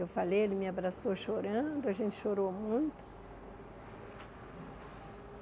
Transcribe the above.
Eu falei, ele me abraçou chorando, a gente chorou muito.